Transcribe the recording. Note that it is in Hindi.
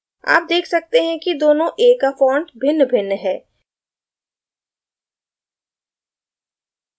आप देख सकते हैं कि दोनों a का font भिन्नभिन्न है